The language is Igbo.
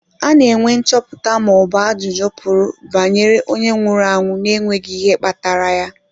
Ana enwe nchọpụta ma ọbụ ajụjụ pụrụ banyere onye nwụrụ na-enweghị ihe kpatara ya.